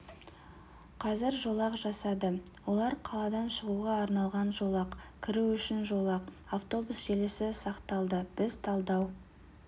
қазір жолақ жасады олар қаладан шығуға арналған жолақ кіру үшін жолақ автобус желісі сақталды біз талдау